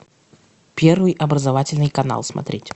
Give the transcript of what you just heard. первый образовательный канал смотреть